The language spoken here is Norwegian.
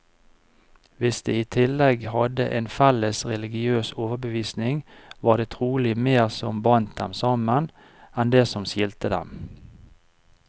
Hvis de i tillegg hadde en felles religiøs overbevisning, var det trolig mer som bandt dem sammen, enn det som skilte dem.